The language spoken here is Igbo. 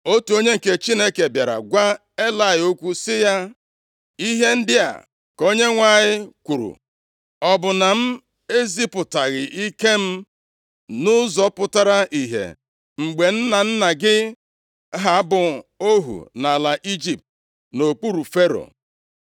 Otu onye nke Chineke bịara gwa Elayị okwu sị ya, “Ihe ndị a ka Onyenwe anyị kwuru: Ọ bụ na m ezipụtaghị ike m nʼụzọ pụtara ihe mgbe nna nna gị ha bụ ohu nʼala Ijipt nʼokpuru Fero?